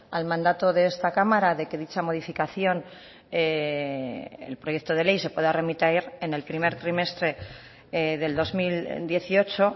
al mandato de esta cámara de que dicha modificación el proyecto de ley se pueda remitir en el primer trimestre del dos mil dieciocho